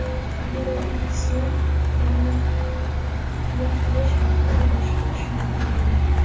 Aero-X’ni rulni qiya qilish orqali boshqarish mumkin bo‘ladi.